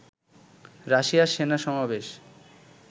রাশিয়ার সেনা সমাবেশ